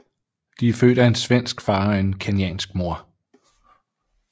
De er født af en svensk far og en kenyansk mor